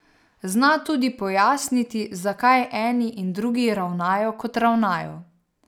Zna tudi pojasniti, zakaj eni in drugi ravnajo, kot ravnajo.